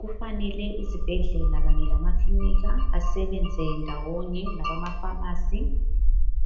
Kufanele izibhedlela kanye lamakilinika, basebenze ndawonye labamapharmacy,